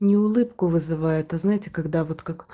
не улыбку вызывает а знаете когда вот как